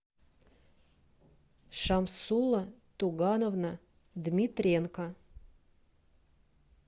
шамсула тугановна дмитренко